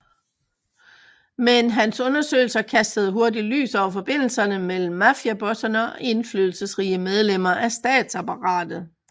Men hans undersøgelser kastede hurtig lys over forbindelserne mellem mafiabosserne og indflydelsesrige medlemmer af statsapparatet